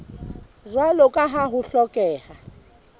jwalo ka ha ho hlokeha